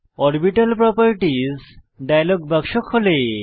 orbital properties dialog বাক্স খোলে